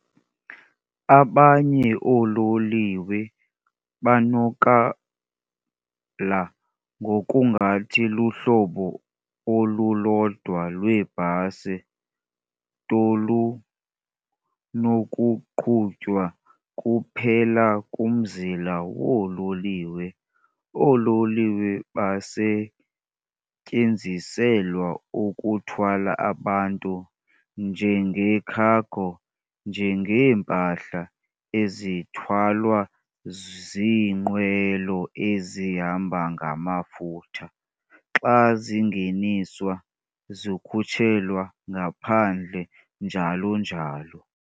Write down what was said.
Abanye oololiwe banokala ngokungathi luhlobo olulodwa lwebhasi tolunokuqhutywa kuphela kumzila woololiwe. Oololiwe basetyenziselwa ukuthwala abantu, njenge-cargo, njengeempahla ezithwalwa ziinqwelo ezihamba ngamafutha, xa zingeniswa - zikhutshelwa ngaphandle, njalo njalo.